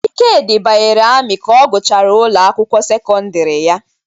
Ikedi banyere ami ka ọ gụchara ụlọ akwukwo sekondiri ya.